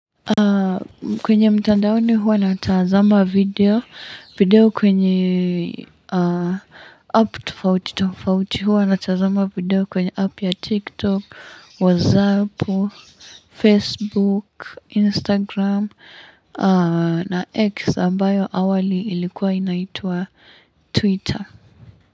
Kwenye mtandaoni huwa natazama video video kwenye app tufauti tufauti huwa natazama video kwenye app ya TikTok, WhatsApp, Facebook, Instagram na X ambayo awali ilikuwa inaitwa Twitter.